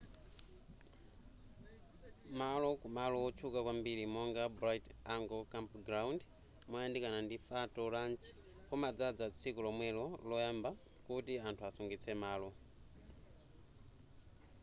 malo ku malo otchuka kwambiri monga bright angle campground moyandikana ndi phanto ranch kumadzadza tsiku lomwelo loyamba kuti anthu asungitse malo